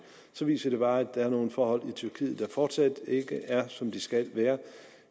så viser det bare at der er nogle forhold i tyrkiet der fortsat ikke er som de skal være